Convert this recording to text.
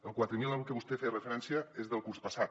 el quatre mil al que vostè feia referència és del curs passat